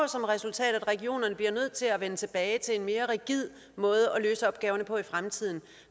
resultat at regionerne bliver nødt til at vende tilbage til en mere rigid måde at løse opgaverne på i fremtiden